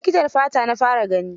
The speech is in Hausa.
Likitan fata na fara gani.